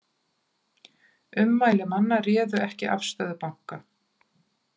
Ummæli manna réðu ekki afstöðu banka